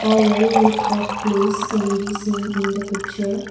a well light up place can be seen in the picture.